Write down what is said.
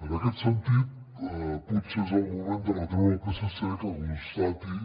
en aquest sentit potser és el moment de retreure al psc que constati